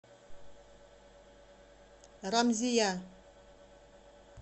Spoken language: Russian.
рамзия